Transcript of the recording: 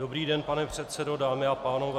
Dobrý den, pane předsedo, dámy a pánové.